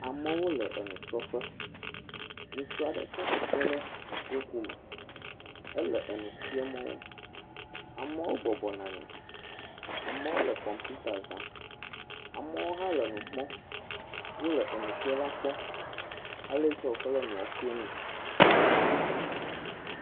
Amewo le enusrɔ̃ƒe, ŋutsu aɖe tsi atsitre le wokume, ele enu fiam wo. Amewo bɔbɔnɔ anyi, amewo le kɔmpita zam, amewo hã le nu kpɔm, wole enufiala kpɔm ele yi ke wokɔ le enua fia mee.